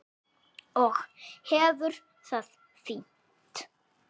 Og hefur það fínt.